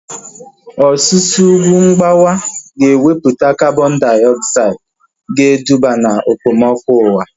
Ọsusu ugwu mgbawa ga ewepụta kabọn diogzaid ga eduba na okpomọkụ ụwa